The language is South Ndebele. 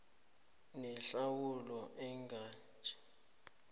nehlawulo engeqi i